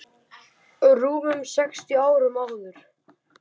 rúmum sextíu árum áður.